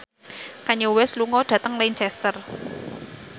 Kanye West lunga dhateng Lancaster